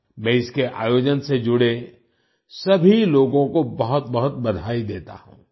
मैं इसके आयोजन से जुड़े सभी लोगों को बहुतबहुत बधाई देता हूं